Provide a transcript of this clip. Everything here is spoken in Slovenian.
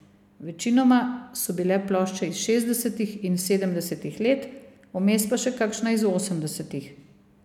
Večinoma so bile plošče iz šestdesetih in sedemdesetih let, vmes pa še kakšna iz osemdesetih.